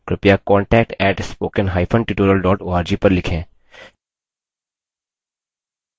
अधिक जानकारी के लिए कृपया contact @spokentutorial org पर लिखें